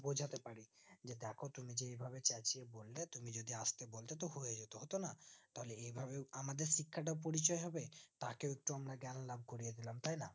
বোঝাতে পারে যে দেখো তুমি যেই ভাবে চেচিয়ে বললে তুমি যদি আস্তে বলতে তো হয়ে যেত হতো না তাহলে এই ভাবে আমাদের শিক্ষাটা পরিচয় হবে তাকে লাভ করবে তাই না